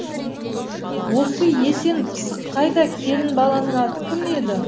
осы есен пысық қайда келін баланың аты кім еді